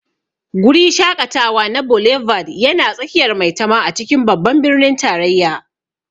Guri shaƙatawa na Boulevard yana tsakiyar Maitama a cikin Babban Birnin Tarayya.